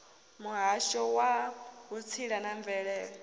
muhasho wa vhutsila na mvelele